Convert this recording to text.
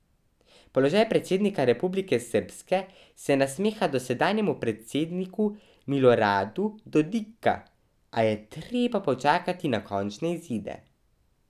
Položaj predsednika Republike srbske se nasmiha dosedanjemu predsedniku Miloradu Dodika, a je treba počakati na končne izide.